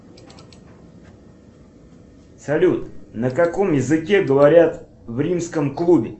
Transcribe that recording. салют на каком языке говорят в римском клубе